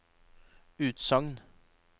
utsagn